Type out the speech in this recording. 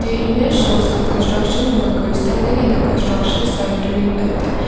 the image shows a construction worker standing in the construction site during night time.